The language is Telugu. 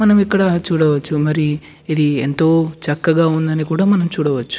మనం ఇక్కడ చూడవచ్చు మరి ఇది ఎంతో చక్కగా ఉంది అని కూడా మనం చూడవచ్చు.